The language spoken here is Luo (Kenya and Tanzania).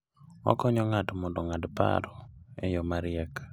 Okonyo ng'ato mondo ong'ad paro e yo mariek.